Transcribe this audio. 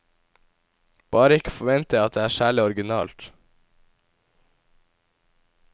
Bare ikke forvent deg at det er særlig originalt.